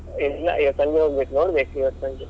ಇಲ್ಲ ಇವತ್ತು ಸಂಜೆ ಹೋಗ್ಬೇಕು, ನೋಡ್ಬೇಕು ಇವತ್ತು ಸಂಜೆ.